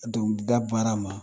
Dɔnkilida baara ma